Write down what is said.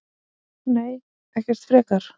Nei, ekkert frekar.